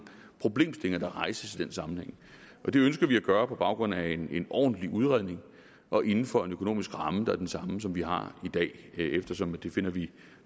problemstillinger der rejses i den sammenhæng og det ønsker vi at gøre på baggrund af en ordentlig udredning og inden for en økonomisk ramme der er den samme som vi har i dag eftersom vi finder det